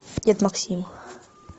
дед максим